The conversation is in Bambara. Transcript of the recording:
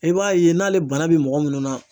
I b'a ye n'ale bana bɛ mɔgɔ minnu na